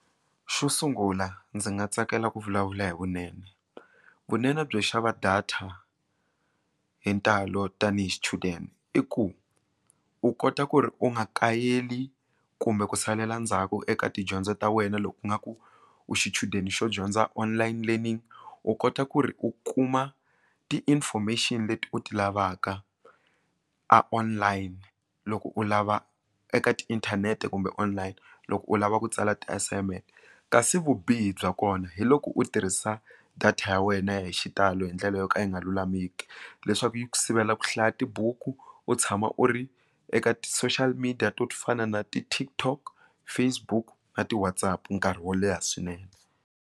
Xo sungula ndzi nga tsakela ku vulavula hi vunene vunene byo xava data hi ntalo tanihi xichudeni i ku u kota ku ri u nga kayeli kumbe ku salela ndzhaku eka tidyondzo ta wena loko u nga ku u xichudeni xo dyondza online learning u kota ku ri u kuma ti information leti u ti lavaka a online loko u lava eka ti inthanete kumbe online loko u lava ku tsala ti assignment kasi vubihi bya kona hi loko u tirhisa data ya wena hi xitalo hi ndlela yo ka yi nga lulameki leswaku yi ku sivela ku hlaya tibuku u tshama u ri eka ti social media to to fana na ti TikTok Facebook na ti WhatsApp nkarhi wo leha swinene.